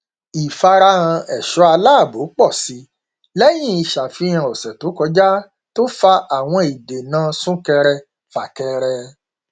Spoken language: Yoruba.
ṣíṣe ààyè tó mọlẹ ń dènà ìbànújẹ agbègbè ẹbí